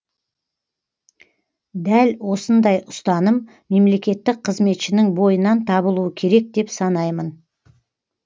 дәл осындай ұстаным мемлекеттік қызметшінің бойынан табылуы керек деп санаймын